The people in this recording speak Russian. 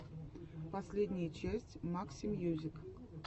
последняя часть максимьюзик